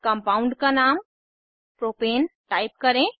compound का नाम propane type करें